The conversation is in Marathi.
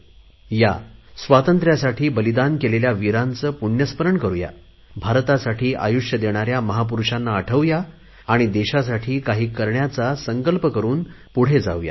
चला या स्वातंत्र्यासाठी बलिदान केलेल्या वीरांचे पुण्यस्मरण करुया भारतासाठी आयुष्य वेचणाऱ्या महापुरुषांना आठवू या आणि देशासाठी काही करण्याचा संकल्प करुन पुढे जाऊ या